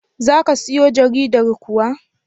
Za ka siyo jaridar kuwa?